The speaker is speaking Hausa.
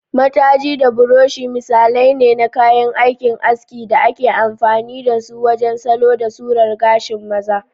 Matajii da brushi misalai ne na kayan aikin aski da ake amfani da su wajen salo da surar gashin maza.